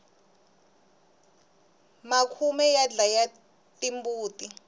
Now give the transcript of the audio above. makhume ya dlaya timbuti